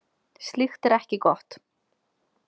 Slíkt er ekki gott.